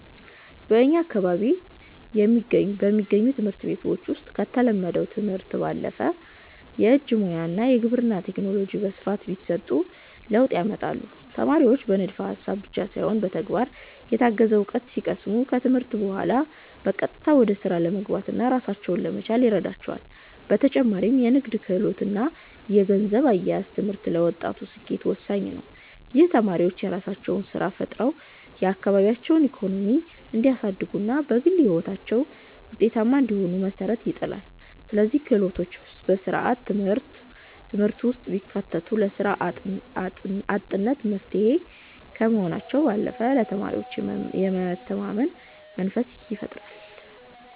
በእኛ አካባቢ በሚገኙ ትምህርት ቤቶች ውስጥ ከተለመደው ትምህርት ባለፈ የእጅ ሙያ እና የግብርና ቴክኖሎጂ በስፋት ቢሰጡ ለውጥ ያመጣሉ። ተማሪዎች በንድፈ ሃሳብ ብቻ ሳይሆን በተግባር የታገዘ እውቀት ሲቀስሙ፣ ከትምህርት በኋላ በቀጥታ ወደ ስራ ለመግባትና ራሳቸውን ለመቻል ይረዳቸዋል። በተጨማሪም የንግድ ክህሎት እና የገንዘብ አያያዝ ትምህርት ለወጣቱ ስኬት ወሳኝ ነው። ይህም ተማሪዎች የራሳቸውን ስራ ፈጥረው የአካባቢያቸውን ኢኮኖሚ እንዲያሳድጉና በግል ህይወታቸውም ውጤታማ እንዲሆኑ መሰረት ይጥላል። እነዚህ ክህሎቶች በስርዓተ ትምህርቱ ውስጥ ቢካተቱ ለስራ አጥነት መፍትሄ ከመሆናቸው ባለፈ ለተማሪዎች የመተማመን መንፈስን ይፈጥራሉ።